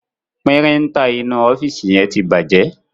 Píríńtà inú ọ́fíìsì yẹn ti bàjẹ́.